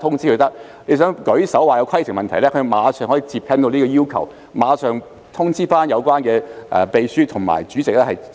如果議員想舉手提出規程問題，他馬上可以回應這個要求，並隨即通知負責的秘書和主席處理。